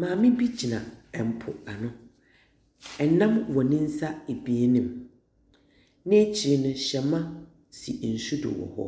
Maame gyina po ano, nam wɔ ne nsa ebien mu, n’ekyir no hɛmba si nsu do wɔ hɔ.